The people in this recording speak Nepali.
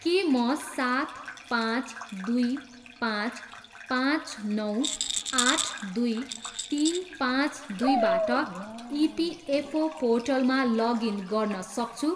के म सात पाँच दुई पाँच पाँच नौ आठ दुई तिन पाँच दुईबाट इपिएफओ पोर्टलमा लगइन गर्न सक्छु?